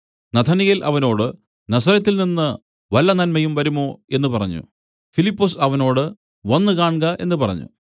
നഥനയേൽ അവനോട് നസറെത്തിൽനിന്ന് വല്ല നന്മയും വരുമോ എന്നു പറഞ്ഞു ഫിലിപ്പൊസ് അവനോട് വന്നു കാൺക എന്നു പറഞ്ഞു